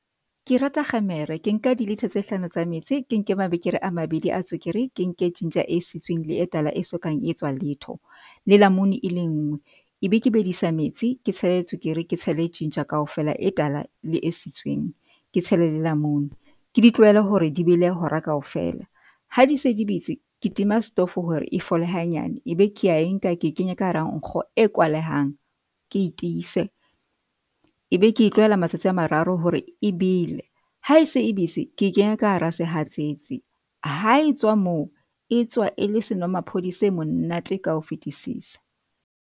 Ke rata kgemere ke nka di-litre tse hlano tsa metsi, ke nke mabekere a mabedi a tswekere, ke nke ginger e sitsweng le e tala e sokang etswa letho le lamune e lengwe ebe ke bedisa metsi ke tshele tswekere ke tshele e ginger kaofela e tala le e sitsweng ke tshele le lamune ke di tlohele hore di bele hora kaofela ha di se di betse. Ke tima stofo hore e fole hanyane ebe ke ya e nka ke kenya ka hara nkgo e kwalehang ke etiise, ebe ke e tlohela matsatsi a mararo hore e bele, ha ese e betse ke e kenya ka hara sehatsetsi. Ha etswa moo, e tswa e le senomaphodi se monate ka ho fetisisa.